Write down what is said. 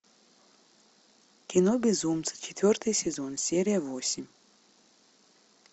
кино безумцы четвертый сезон серия восемь